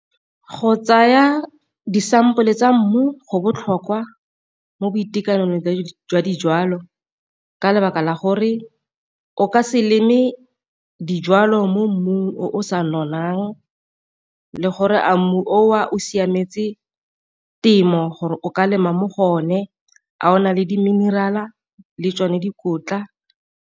Go tsaya disampole tsa mmu go botlhokwa mo boitekanelong jwa dijalo, ka lebaka la gore o ka se leme dijwalo mo mmu o sa nonnang le gore a mmu o a o siametse temo gore o ka lema mo go o ne, a o na le di mineral-a le tsone dikotla.